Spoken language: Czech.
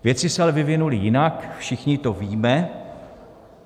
Věci se ale vyvinuly jinak, všichni to víme.